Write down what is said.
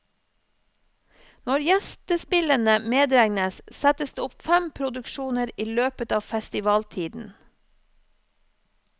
Når gjestespillene medregnes, settes det opp fem produksjoner i løpet av festivaltiden.